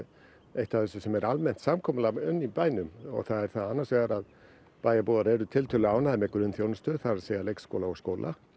eitt af þessu sem er almennt samkomulag um í bænum og það er það annars vegar að bæjarbúar eru tiltölulega ánægðir með grunnþjónustu það segja leikskóla og skóla